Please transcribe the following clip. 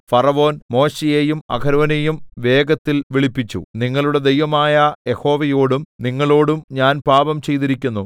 ഫറവോൻ മോശെയെയും അഹരോനെയും വേഗത്തിൽ വിളിപ്പിച്ചു നിങ്ങളുടെ ദൈവമായ യഹോവയോടും നിങ്ങളോടും ഞാൻ പാപം ചെയ്തിരിക്കുന്നു